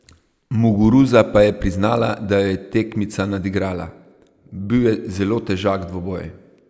Muguruza pa je priznala, da jo je tekmica nadigrala: "Bil je zelo težak dvoboj.